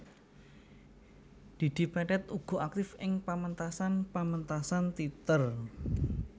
Didi Petet uga aktif ing pamentasan pamentasan téater